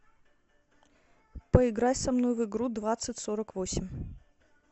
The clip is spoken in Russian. поиграй со мной в игру двадцать сорок восемь